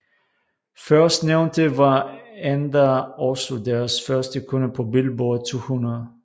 Førstnævnte var endda også deres første kunde på Billboard 200